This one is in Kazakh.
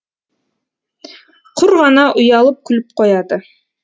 құр ғана ұялып күліп қояды